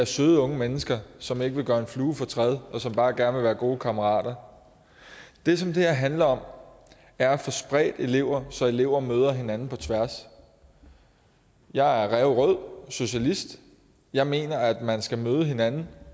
søde unge mennesker som ikke vil gøre en flue fortræd og som bare gerne vil være gode kammerater det som det her handler om er at få spredt elever så elever møder hinanden på tværs jeg er ræverød socialist jeg mener at man skal møde hinanden